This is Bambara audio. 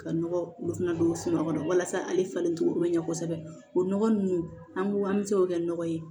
Ka nɔgɔ olu fana don sunɔgɔ kɔnɔ walasa ale falen cogo bɛ ɲɛ kosɛbɛ o nɔgɔ ninnu an b'u an bɛ se k'o kɛ nɔgɔ ye